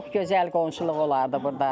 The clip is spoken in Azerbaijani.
Çox gözəl qonşuluq olardı burda.